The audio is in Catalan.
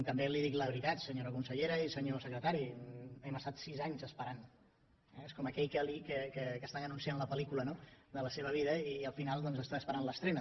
també li dic la veritat senyora consellera i senyor secretari hem estat sis anys esperant eh és com aquell que li estan anunciant la pel·lícula no de la seva vida i al final doncs està esperant l’estrena